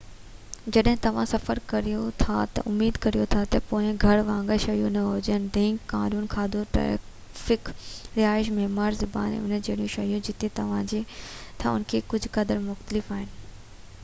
جڏهن توهان سفر ڪريو ٿا تہ اميد ڪريو ٿا اهي پويان گهر وانگر شيون نہ هجن ڍنگ قانون کاڌو ٽرئفڪ رهائش معيار زبان ۽ ان جهڙيون شيون جتي توهان رهو ٿا ان کان ڪجهہ قدر مختلف آهن